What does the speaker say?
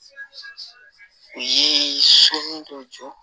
U ye so min dɔw jɔ